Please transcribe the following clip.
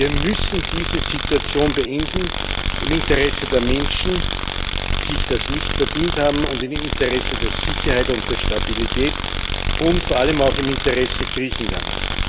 Wir müssen diese Situation beenden, im Interesse der Menschen, die das nicht verdient haben, im Interesse der Sicherheit und der Stabilität und vor allem auch im Interesse Griechenlands.